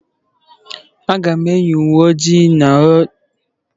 Aga m eyi uwe ojii na ọcha echi.